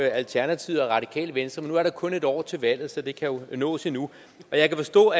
alternativet og radikale venstre men nu er der kun et år til valget så det kan jo nås endnu jeg kan forstå